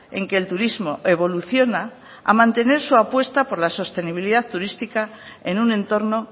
en que el turismo evoluciona a mantener su apuesta por la sostenibilidad turística en un entorno